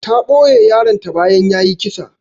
Ta ɓoye yaron ta bayan yayi kisa.